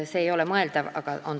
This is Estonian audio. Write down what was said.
See ei ole mõeldav.